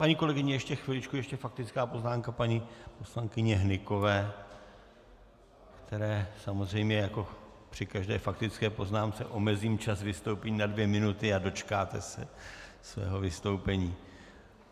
Paní kolegyně, ještě chviličku, ještě faktická poznámka paní poslankyně Hnykové, které samozřejmě jako při každé faktické poznámce omezím čas vystoupení na dvě minuty a dočkáte se svého vystoupení.